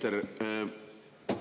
Härra minister!